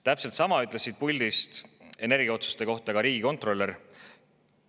Täpselt sama ütles siit puldist energiaotsuste kohta ka riigikontrolör.